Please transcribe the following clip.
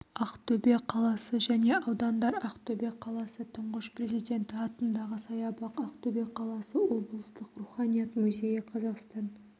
ақтөбе қаласы және аудандар ақтөбе қаласы тұңғыш президенті атындағы саябақ ақтөбе қаласы облыстық руханият музейі қазақстан